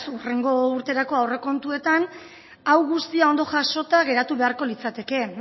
hurrengo urterako aurrekontuetan hau guztia ondo jasota geratu beharko litzateke